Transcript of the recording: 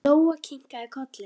Lóa kinkaði kolli.